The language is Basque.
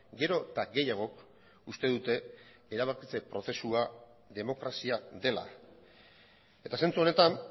gero eta gehiagok uste dute erabakitze prozesua demokrazia dela eta zentsu honetan